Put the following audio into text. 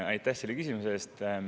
Aitäh selle küsimuse eest!